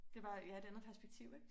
Det var ja et andet perspektiv ikke